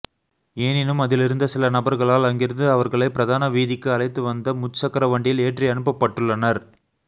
எனினும் அதிலிருந்த சில நபர்களால் அங்கிருந்து அவர்களை பிரதான வீதிக்கு அழைத்து வந்து முச்சக்கர வண்டியில் ஏற்றி அனுப்பப்பட்டுள்ளனர்